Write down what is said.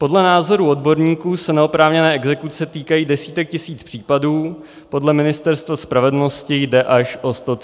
Podle názoru odborníků se neoprávněné exekuce týkají desítek tisíc případů, podle Ministerstva spravedlnosti jde až o 133 tisíc.